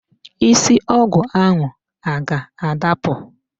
Isi ọgụ ahụ a ga-adapụ?